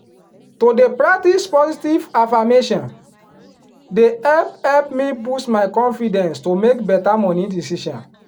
to dey pratcise positive affirmation dey help help me boost my confidence to make better money decision.